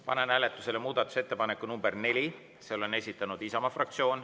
Panen hääletusele muudatusettepaneku nr 4, mille on esitanud Isamaa fraktsioon.